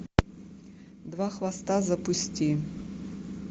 два хвоста запусти